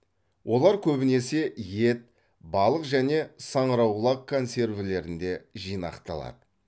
олар көбінесе ет балық және саңырауқұлақ консервілерінде жинақталады